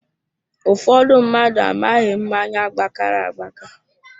Ụfọdụ mmadụ amaghị mmáñyá gbakara agbaka